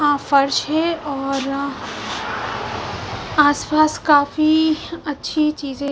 यहां फर्श है और आसपास काफी अच्छी चीजे--